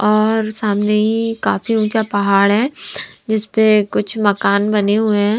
और सामने ही काफी ऊँंचा पहाड़ हैजिस पे कुछ मकान बने हुए हैं।